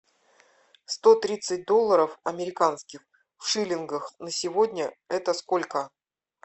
сто тридцать долларов американских в шиллингах на сегодня это сколько